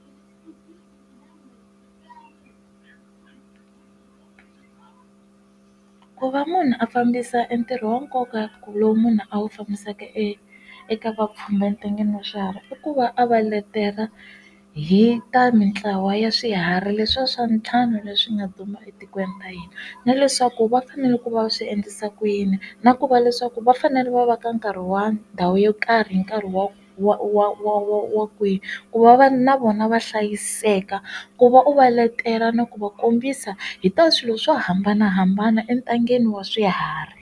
Ku va munhu a fambisa ntirho wa nkoka ku lowu munhu a wu fambisaka eka vapfhumba entangeni wa swiharhi i ku va a va letela hi ta mintlawa ya swiharhi leswiya swa ntlhanu leswi nga duma etikweni ra hina na leswaku va fanele ku va swi endlisa ku yini na ku va leswaku va fanele va va ka nkarhi wa ndhawu yo kahle ri nkarhi wa wa wa wa wa kwihi ku va na vona va hlayiseka ku va u va letela na ku va kombisa hi ta swilo swo hambanahambana entangeni wa swiharhi.